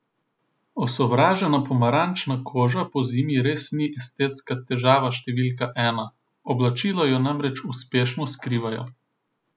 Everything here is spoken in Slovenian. Osovražena pomarančna koža pozimi res ni estetska težava številka ena, oblačila jo namreč uspešno skrivajo.